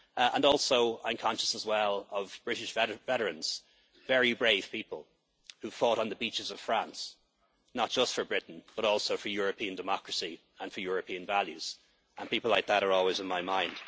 Parliament. I am also conscious of British veterans, very brave people who fought on the beaches of France not just for Britain but also for European democracy and for European values, and people like that are always